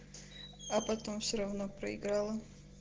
а потом всё равно проиграла